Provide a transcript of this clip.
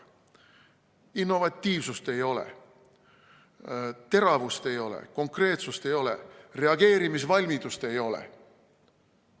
Innovatiivsust ei ole, teravust ei ole, konkreetsust ei ole, reageerimisvalmidust ei ole.